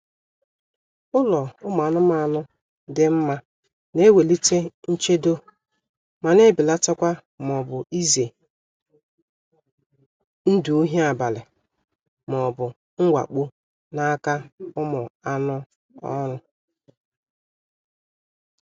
Ụlọ ụmụ anụmanụ dị mma na-ewelite nchedo ma na-ebelatakwa maọbụ ize ndụ ohi abalị maọbu mwakpo n'aka ụmụ anụ oru